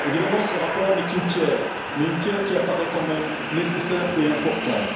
Évidemment, ce rapport n'est qu'une pierre, mais une pierre qui apparaît quand même nécessaire et importante.